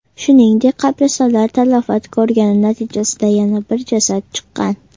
Shuningdek, qabristonlar talafot ko‘rgani natijasida yana bir jasad chiqqan.